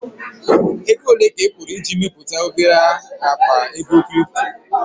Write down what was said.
Ego ole ka ị kwụrụ iji mepụta obere akpa ego crypto?